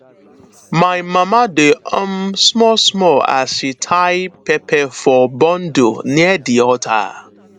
my mama dey hum small small as she dey tie pepper for bundle near di altar